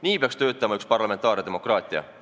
Nii peaks töötama parlamentaarne demokraatia.